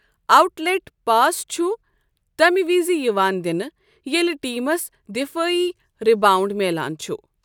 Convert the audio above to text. Out late pass چھُ تَمہِ وِزِ یِوان دِنہٕ ییٚلہِ ٹیٖمس دفٲعی رِباونٛڈ میلان چھُ۔